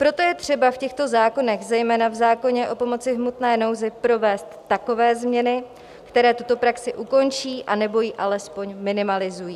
Proto je třeba v těchto zákonech, zejména v zákoně o pomoci v hmotné nouzi, provést takové změny, které tuto praxi ukončí anebo ji alespoň minimalizují.